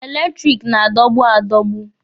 Eletiriki na-adọgbu adọgbu.